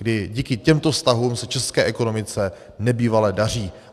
I díky těmto vztahům se české ekonomice nebývale daří.